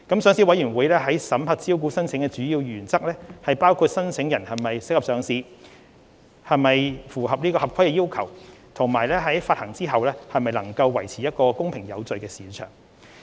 上市委員會審核招股申請的主要原則，包括考慮申請人是否適合上市、是否符合合規要求，以及在股份發行後能否維持公平有序的市場。